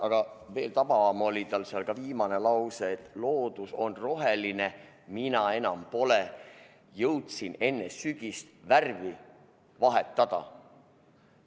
Aga veel tabavam oli lause, et loodus on roheline, mina enam pole, jõudsin enne sügist värvi vahetada.